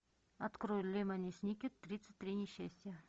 открой лемони сникет тридцать три несчастья